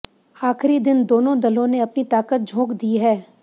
आखिरी दिन दोनों दलों ने अपनी ताकत झोंक दी है